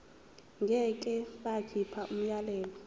ngeke bakhipha umyalelo